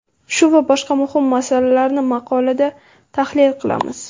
Shu va boshqa muhim masalalarni maqolada tahlil qilamiz.